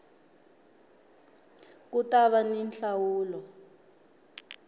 ku ta va ni nhlawulo